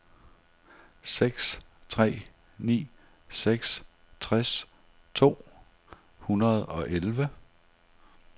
seks tre ni seks tres to hundrede og elleve